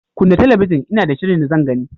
Kunna talabijin Ina da shirin da zan gani.